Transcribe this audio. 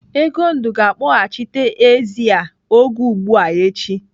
Egondụ ga-akpọghachite ezi a oge ugbua echi.